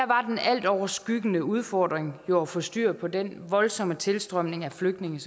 var den altoverskyggende udfordring jo at få styr på den voldsomme tilstrømning af flygtninge